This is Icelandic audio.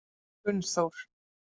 Gunnþór